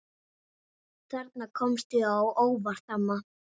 Þarna komstu á óvart, amma.